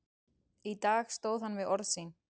Í dag stóð hann við orð sín.